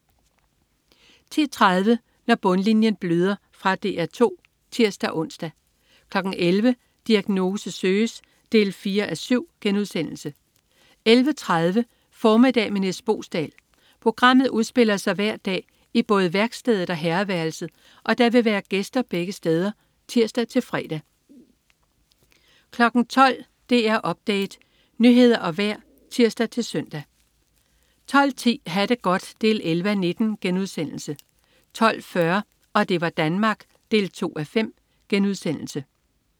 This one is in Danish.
10.30 Når bundlinjen bløder. Fra DR 2 (tirs-ons) 11.00 Diagnose søges 4:7* 11.30 Formiddag med Nis Boesdal. Programmet udspiller sig hver dag i både værkstedet og herreværelset, og der vil være gæster begge steder (tirs-fre) 12.00 DR Update. Nyheder og vejr (tirs-søn) 12.10 Ha' det godt 11:19* 12.40 Og det var Danmark 2:5*